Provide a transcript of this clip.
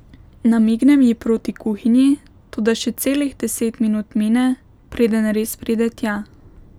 Namignem ji proti kuhinji, toda še celih deset minut mine, preden res pride tja.